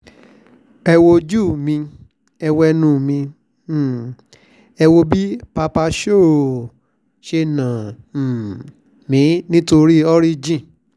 ẹ wojú mi ẹ̀ wo ẹnu mi um ẹ̀ wò bí papa showw ṣe nà um mí nítorí oríjìn